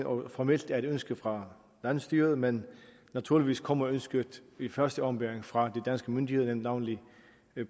og formelt er et ønske fra landsstyret men naturligvis kommer ønsket i første omgang fra de danske myndigheder navnlig